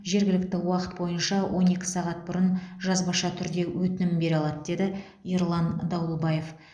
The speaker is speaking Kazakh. жергілікті уақыт бойынша он екі сағат бұрын жазбаша түрде өтінім бере алады деді ерлан дауылбаев